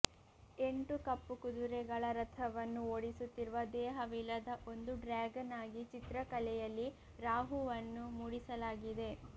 ಎಂಟು ಕಪ್ಪು ಕುದುರೆಗಳ ರಥವನ್ನು ಓಡಿಸುತ್ತಿರುವ ದೇಹವಿಲ್ಲದ ಒಂದು ಡ್ರ್ಯಾಗನ್ ಆಗಿ ಚಿತ್ರಕಲೆಯಲ್ಲಿ ರಾಹುವನ್ನು ಮೂಡಿಸಲಾಗಿದೆ